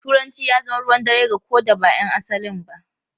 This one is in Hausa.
Turanci ya zama ruwan dare ga ko da ba ’yan asalin ba.